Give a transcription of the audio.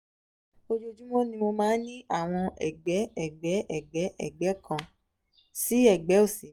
ojoojúmọ́ ni mo máa ń ní àwọn ẹ̀gbẹ́ ẹ̀gbẹ́ ẹ̀gbẹ́ ẹ̀gbẹ́ kan sí ẹ̀gbẹ́ òsì mi